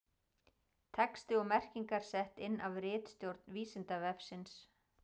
Texti og merkingar sett inn af ritstjórn Vísindavefsins.